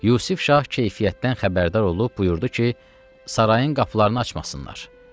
Yusif şah keyfiyyətdən xəbərdar olub buyurdu ki, sarayın qapılarını açmasınlar.